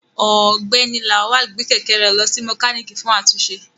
Ọgbẹni Lawal gbe kẹ̀kẹ́ rẹ lọ si mokaniki fun atunṣe